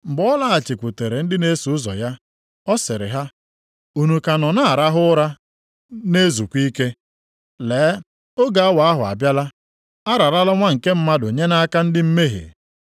Mgbe ọ lọghachikwutere ndị na-eso ụzọ ya, ọ sịrị ha, “Unu ka nọ na-arahụ ụra, na-ezukwa ike? Lee, oge awa ahụ abịala, a rarala Nwa nke Mmadụ nye nʼaka ndị mmehie.